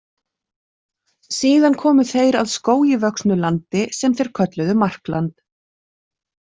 Síðan komu þeir að skógi vöxnu landi sem þeir kölluðu Markland.